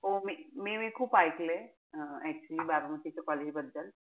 हो मी मी खूप एकलंय. हा actually बारामतीचे college बद्दल.